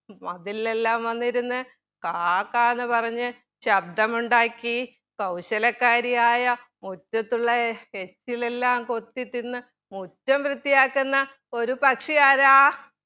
മതിലില്ലെല്ലാം വന്നിരുന്ന് കാ കാ എന്ന് പറഞ്ഞ് ശബ്‌ദം ഉണ്ടാക്കി കൗശലക്കാരിയായ മുറ്റത്തുള്ള എച്ചിലെല്ലാം കൊത്തിതിന്ന് മുറ്റം വൃത്തിയാക്കുന്ന ഒരു പക്ഷിയാരാ